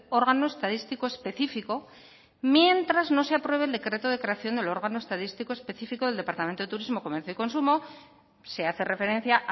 órgano estadístico específico mientras no se apruebe el decreto de creación del órgano estadístico específico del departamento turismo comercio y consumo se hace referencia